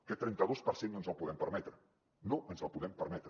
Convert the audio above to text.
aquest trenta dos per cent no ens el podem permetre no ens el podem permetre